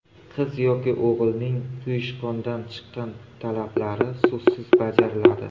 Qizi yoki o‘g‘lining quyushqondan chiqqan talablari so‘zsiz bajariladi.